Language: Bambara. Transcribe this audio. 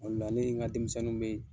O la ne ye n ka denmisɛnnu be